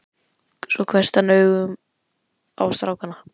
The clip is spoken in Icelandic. Svo hvessti hann augun á strákana.